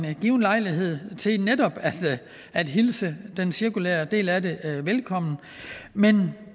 en given lejlighed til netop at hilse den cirkulere del af det velkommen men